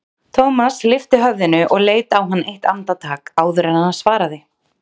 Thomas lyfti höfðinu og leit á hann eitt andartak áður en hann svaraði.